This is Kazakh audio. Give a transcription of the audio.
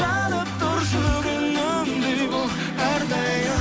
жанып тұршы күнімдей боп әрдайым